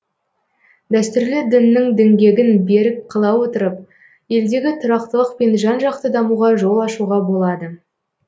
дәстүрлі діннің діңгегін берік қыла отырып елдегі тұрақтылық пен жан жақты дамуға жол ашуға болады